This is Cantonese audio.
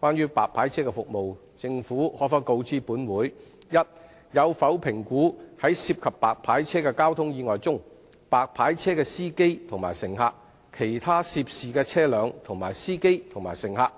關於白牌車服務，政府可否告知本會：一有否評估在涉及白牌車的交通意外中，白牌車的司機和乘客、其他涉事車輛的司機和乘客，